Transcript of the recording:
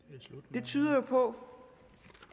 det tyder jo på